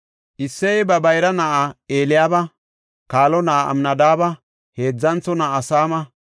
Isseyey ba bayra na7aa Eliyaaba, kaalo na7aa Amnadaabe, heedzantho na7aa Saama,